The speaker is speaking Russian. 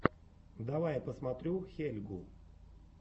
давай я посмотрю хелльгу